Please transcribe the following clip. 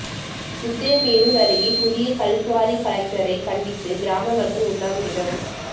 உத்திரமேரூர் அருகே புதிய கல்குவாரி கலெக்டரை கண்டித்து கிராம மக்கள் உண்ணாவிரதம்